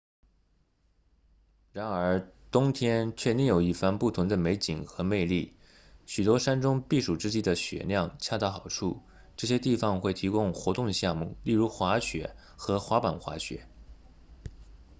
然而冬天却另有一番不同的美景和魅力许多山中避暑之地的雪量恰到好处这些地方会提供活动项目例如滑雪和滑板滑雪